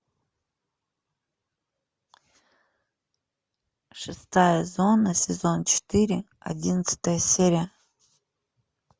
шестая зона сезон четыре одиннадцатая серия